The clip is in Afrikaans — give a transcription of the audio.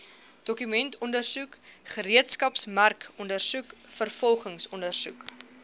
dokumentondersoek gereedskapsmerkondersoek vervolgingsondersoek